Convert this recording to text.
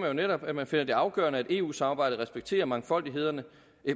jo netop at man finder det afgørende at eu samarbejdet respekterer mangfoldigheden